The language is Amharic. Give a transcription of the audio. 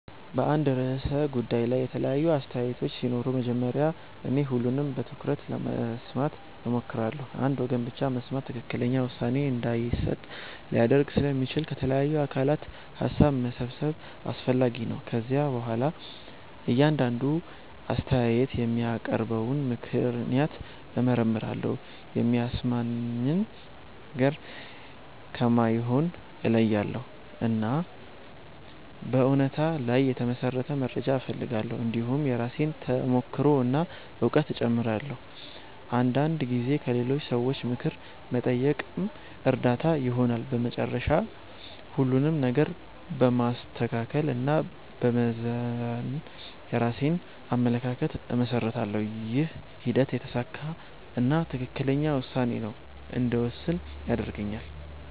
በአንድ ርዕሰ ጉዳይ ላይ የተለያዩ አስተያየቶች ሲኖሩ መጀመሪያ እኔ ሁሉንም በትኩረት ለመስማት እሞክራለሁ። አንድ ወገን ብቻ መስማት ትክክለኛ ውሳኔ እንዳይሰጥ ሊያደርግ ስለሚችል ከተለያዩ አካላት ሀሳብ መሰብሰብ አስፈላጊ ነው። ከዚያ በኋላ እያንዳንዱ አስተያየት የሚያቀርበውን ምክንያት እመርመራለሁ። የሚያሳምነኝን ነገር ከማይሆነው እለያያለሁ፣ እና በእውነታ ላይ የተመሠረተ መረጃ እፈልጋለሁ። እንዲሁም የራሴን ተሞክሮ እና እውቀት እጨምራለሁ። አንዳንድ ጊዜ ከሌሎች ሰዎች ምክር መጠየቅም እርዳታ ይሆናል። በመጨረሻ ሁሉንም ነገር በማስተካከል እና በመመዘን የራሴን አመለካከት እመሰርታለሁ። ይህ ሂደት የተሳካ እና ትክክለኛ ውሳኔ እንድወስን ይረዳኛል።